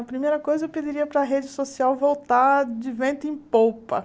A primeira coisa, eu pediria para a rede social voltar de vento em popa.